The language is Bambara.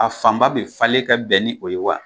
A fanba bɛ falen ka bɛn ni o ye wa